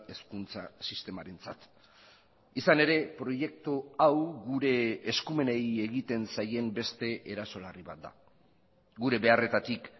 hezkuntza sistemarentzat izan ere proiektu hau gure eskumenei egiten zaien beste eraso larri bat da gure beharretatik